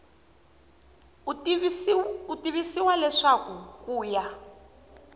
u tivisiwa leswaku ku ya